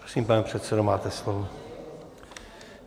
Prosím, pane předsedo, máte slovo.